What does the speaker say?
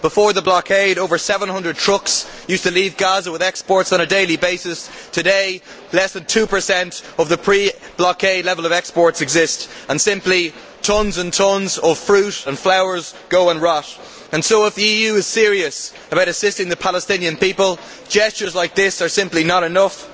Before the blockade, over 700 trucks used to leave Gaza with exports on a daily basis, today less than 2 of the pre blockade level of exports exist and simply tons and tons of fruit and flour are rotting and so, if the EU is serious about assisting the Palestinian people, gestures like this are simply not enough.